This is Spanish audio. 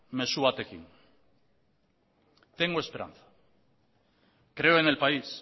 mezu batekin tengo esperanza creo en el país